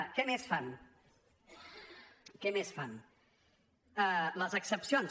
què més fan què més fan les excepcions